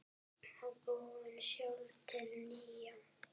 Og búið sjálf til nýja.